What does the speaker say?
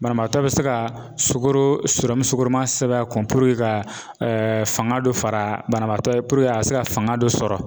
Banabaatɔ be se ka sukoro sukoroman sɛbɛn a kun ka fanga dɔ fara banabaatɔ ye a be se ka fanga dɔ sɔrɔ .